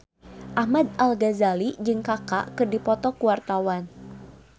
Ahmad Al-Ghazali jeung Kaka keur dipoto ku wartawan